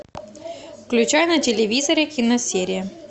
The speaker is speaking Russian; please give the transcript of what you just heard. включай на телевизоре киносерия